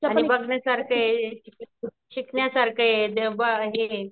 आणि बघण्यासारखे, शिकण्यासारखये दे ब हे